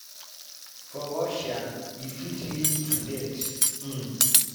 for russia e fit lead to death. um